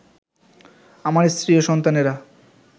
আমার স্ত্রী ও সন্তানেরা